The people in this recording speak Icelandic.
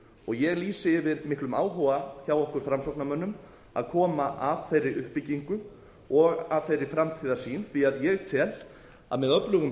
ég lýsi yfir miklum áhuga hjá okkur framsóknarmönnum að koma að þeirri uppbyggingu og að þeirri framtíðarsýn því ég tel að með öflugum